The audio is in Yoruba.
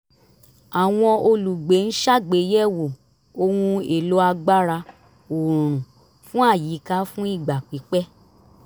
àwọn olùgbé ń ṣàgbéyẹ̀wò ohun èlò agbára oòrùn fún àyíká fún ìgbà pípẹ̀